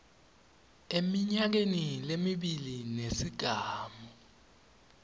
eminyakeni lemibili nesigamu